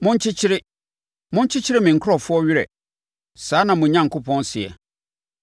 Monkyekyere, monkyekyere me nkurɔfoɔ werɛ. Saa na mo Onyankopɔn seɛ.